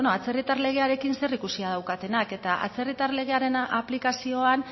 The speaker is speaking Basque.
atzerritar legearekin zerikusia daukatenak eta atzerritar legearen aplikazioan